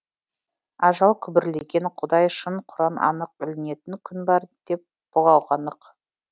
ажал күбірлеген құдай шын құран анық ілінетін күн бар деп бұғауға нық